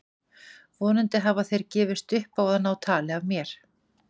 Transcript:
Vonandi hafa þeir gefist upp á að ná tali af mér.